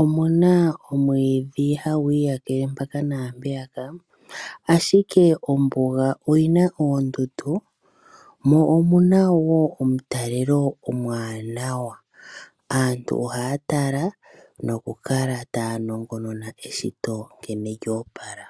omuna omwiidhi hagu iyakeke mpaka naampeyaka, ashike ombuga oyina oondundu mo omuna wo omutalelo omwanawa. Aantu ohaya tala nokukala taya nongonona eshito nkene lyoopala.